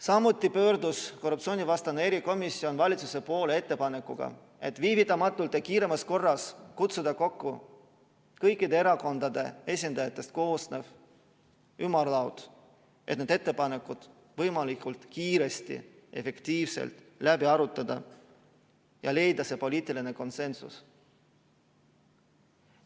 Samuti pöördus korruptsioonivastane erikomisjon valitsuse poole ettepanekuga, et viivitamatult ja kiiremas korras kutsuda kokku kõikide erakondade esindajatest koosnev ümarlaud, et need ettepanekud võimalikult kiiresti, efektiivselt läbi arutada ja leida poliitiline konsensus.